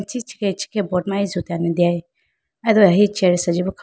ichi ichikhiha boat ma isutene deya.